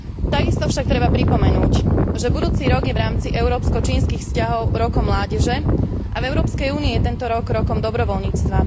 Takisto však treba pripomenúť, že budúci rok je v rámci európsko čínskych vzťahov rokom mládeže a v Európskej únii je tento rok rokom dobrovoľníctva.